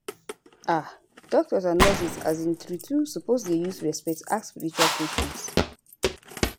ah doctors and nurses um true true suppose dey use respect ask spiritual questions